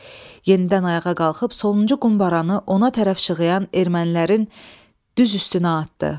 Yenidən ayağa qalxıb sonuncu qumbaranı ona tərəf şığıyan ermənilərin düz üstünə atdı.